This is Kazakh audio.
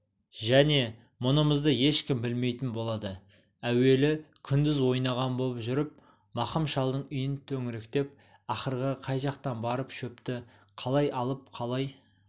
және мұнымызды ешкім білмейтін болады әуелі күндіз ойнаған боп жүріп мақым шалдың үйін төңіректеп ақырға қай жақтан барып шөпті қалай алып қалай